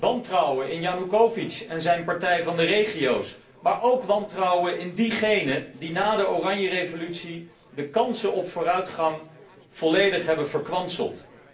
Wantrouwen in Janoekovitsj en zijn partij van de regio's, maar ook wantrouwen in diegenen die na de Oranjerevolutie de kansen op vooruitgang volledig hebben verkwanseld.